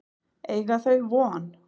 Eiga þau von?